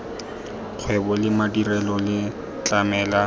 kgwebo le madirelo le tlamela